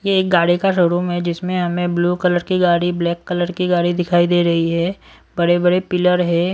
ये एक गाड़ी का शोरूम है जिसमें हमें ब्लू कलर की गाड़ी ब्लैक कलर की गाड़ी दिखाई दे रही है बड़े-बड़े पिलर है।